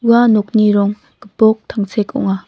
ua nokni rong gipok tangsek ong·a.